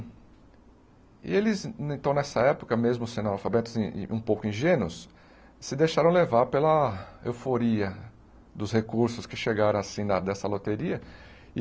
E eles, então, nessa época, mesmo sendo alfabetos e e um pouco ingênuos, se deixaram levar pela euforia dos recursos que chegaram, assim, da dessa loteria.